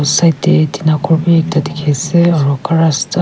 Side dae tina ghor bhi ekta dekhey ase aro gar rasta--